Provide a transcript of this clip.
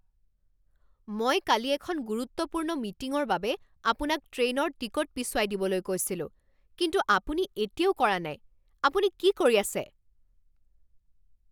মই কালি এখন গুৰুত্বপূৰ্ণ মিটিঙৰ বাবে আপোনাক ট্ৰেইনৰ টিকট পিছুৱাই দিবলৈ কৈছিলো কিন্তু আপুনি এতিয়াও কৰা নাই, আপুনি কি কৰি আছে?